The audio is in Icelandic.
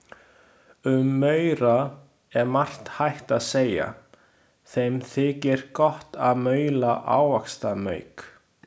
Um maura er margt hægt að segja, þeim þykir gott að maula ávaxtamauk.